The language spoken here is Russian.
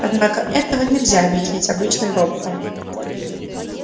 однако этого нельзя объяснить обычным роботам